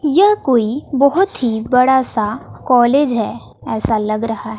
यह कोई बहोत ही बड़ा सा कॉलेज है ऐसा लग रहा--